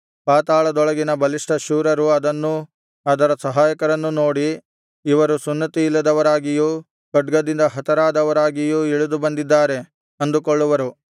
ಪಾತಾಳದೊಳಗಿನ ಬಲಿಷ್ಠ ಶೂರರು ಅದನ್ನೂ ಅದರ ಸಹಾಯಕರನ್ನೂ ನೋಡಿ ಇವರು ಸುನ್ನತಿಯಿಲ್ಲದವರಾಗಿಯೂ ಖಡ್ಗದಿಂದ ಹತರಾದವರಾಗಿಯೂ ಇಳಿದು ಬಂದಿದ್ದಾರೆ ಅಂದುಕೊಳ್ಳುವರು